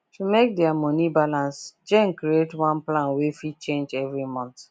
to make their money balance jane create one plan wey fit change every month